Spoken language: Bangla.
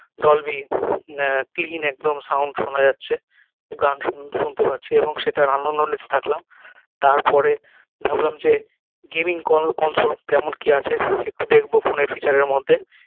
dolby আহ clean একদম sound শোনা যাচ্ছে গান শুন শুনতে পাচ্ছি এবং সেটার আনন্দ নিতে থাকলাম তার পরে ভাবলাম যে gaming ক console কেমন কি আছে একটু দেখবো ফোন এর feature এর মধ্যে